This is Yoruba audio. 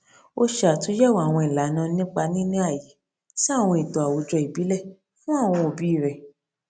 ó ṣe àtúyẹwò àwọn ìlànà nípa níní ààyè sí àwọn ètò àwùjọ ìbílẹ fún àwọn òbí rẹ